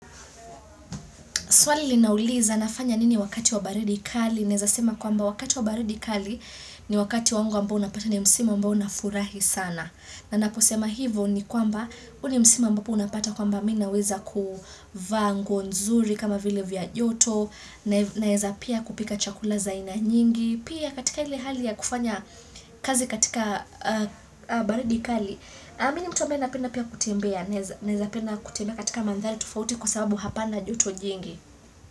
Swali linauliza nafanya nini wakati wa baridi kali. Naeza sema kwamba wakati wa baridi kali ni wakati wangu ambao unapata ni msimu ambao nafurahi sana. Na naposema hivo ni kwamba huu ni msimu ambapo unapata kwamba mi naweza kuvaa nguo nzuri kama vile vya joto. Naeza pia kupika chakula za aina nyingi. Pia katika ile hali ya kufanya kazi katika baridi kali. Na mi ni mtu ambaye napenda pia kutembea. Naeza penda kutembea katika mandhari tofauti kwa sababu hapana joto jingi.